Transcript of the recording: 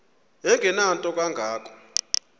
engenanto kanga ko